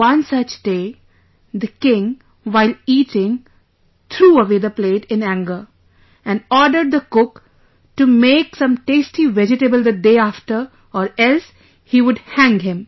One such day, the king while eating, threw away the plate in anger and ordered the cook to make some tasty vegetable the day after or else he would hang him